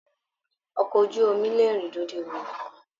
Ọkọ ojú omi lè rìn lórí omi nikan.